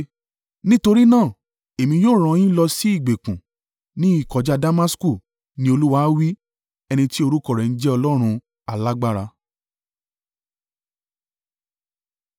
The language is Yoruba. Nítorí náà èmi yóò rán an yín lọ sí ìgbèkùn ní ìkọjá Damasku,” ni Olúwa wí, ẹni tí orúkọ rẹ̀ ń jẹ́ Ọlọ́run alágbára.